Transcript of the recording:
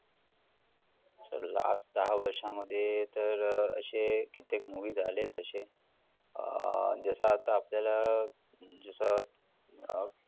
sir last दहा वर्षामध्ये तर अशे कित्येक movie झालेत तशे. अं जसं आता आपल्याला जसं अं